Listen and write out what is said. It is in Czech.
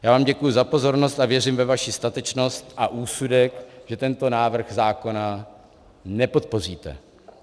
Já vám děkuji za pozornost a věřím ve vaši statečnost a úsudek, že tento návrh zákona nepodpoříte.